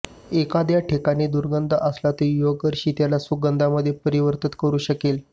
एखाद्या ठिकाणी दुर्गंध असला तर योगर्षि त्याला सुगंधामध्ये परिवर्तित करू शकेल